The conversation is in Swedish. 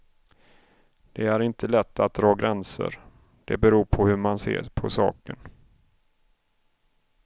Det är inte lätt att dra gränser, det beror på hur man ser på saken.